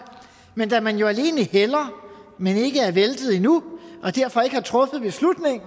men da man jo alene hælder men ikke er væltet endnu og derfor ikke har truffet beslutningen